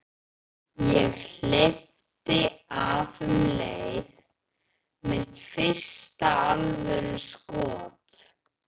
Ég hleypti af um leið: Mitt fyrsta alvöru skot.